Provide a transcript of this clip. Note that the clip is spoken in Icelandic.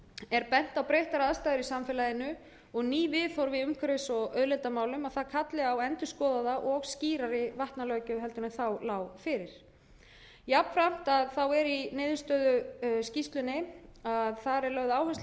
er bent á að breyttar aðstæður í samfélaginu og ný viðhorf í umhverfis og auðlindamálum að það kalli á endurskoðaða og skýrari vatnalöggjöf en þá lá fyrir jafnframt er í niðurstöðuskýrslunni lögð áhersla á